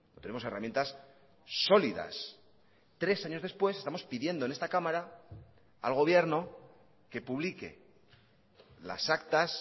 tenemos herramientas sólidas tres años después estamos pidiendo en esta cámara al gobierno que publique las actas